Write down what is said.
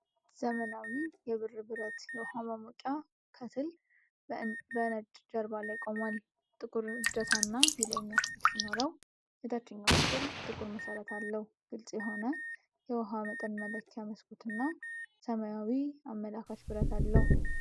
ዘመናዊ የብር ብረት የውሃ ማሞቂያ (ከትል) በነጭ ጀርባ ላይ ቆሟል። ጥቁር እጀታና የላይኛው ክፍል ሲኖረው፣ የታችኛው ክፍል ጥቁር መሠረት አለው። ግልጽ የሆነ የውሃ መጠን መለኪያ መስኮትና ሰማያዊ አመላካች መብራት አለው።